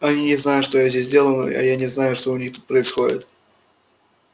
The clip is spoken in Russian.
они не знают что я здесь делаю а я не знаю что у них тут происходит